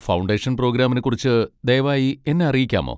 Foundation പ്രോഗ്രാമിനെക്കുറിച്ച് ദയവായി എന്നെ അറിയിക്കാമോ?